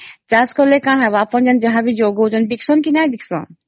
ଚାଷ କଲେ କଣ ହେବ ଆପଣ ଯାହା ବି ଯୋଗାଉଛନ୍ତି ଦିଖସନ କି ନାଇଁ ଦିଖସନ ?